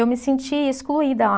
Eu me senti excluída lá.